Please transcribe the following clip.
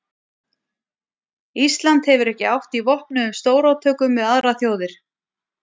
Ísland hefur ekki átt í vopnuðum stórátökum við aðrar þjóðir.